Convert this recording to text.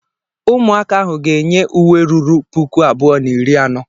Ụmụaka ahụ ga-enye uwe ruru puku abụọ na iri anọ.